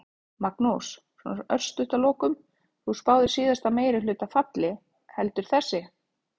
Magnús: Svona örstutt að lokum, þú spáðir síðasta meirihluta falli, heldur þessi?